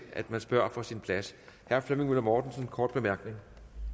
at man spørger fra sin plads herre flemming møller mortensen kort bemærkning